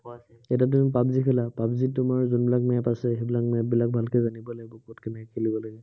এতিয়া তুমি পাৱজি খেলা, পাৱজিত তোমাৰ যোনবিলাক map আছে, সেইবিলাক map বিলাক ভালকে জানিব লাগিব, কত কেনেকে খেলিব লাগিব।